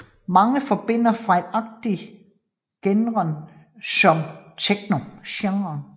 Mange forbinder fejlagtigt genren med techno